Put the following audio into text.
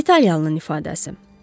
İtalyanlının ifadəsi.